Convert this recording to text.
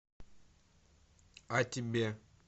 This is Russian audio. а тебе